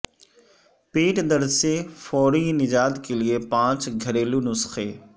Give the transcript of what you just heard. پیٹ درد سے فوری نجات کے لیے پانچ گھریلو نسخے